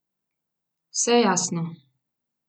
Vse jasno!